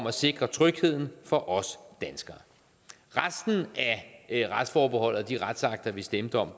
at sikre trygheden for os danskere resten af retsforbeholdet og de retsakter vi stemte om